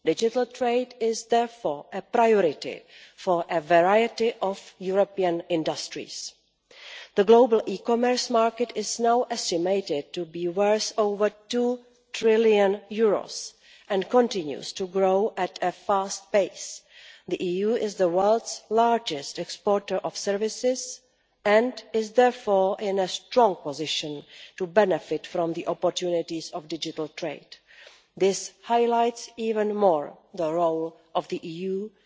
Digital trade is therefore a priority for a variety of European industries. The global e-commerce market is now estimated to be worth over EUR two trillion and continues to grow at a fast pace. The EU is the world's largest exporter of services and is therefore in a strong position to benefit from the opportunities of digital trade. This highlights even more the role the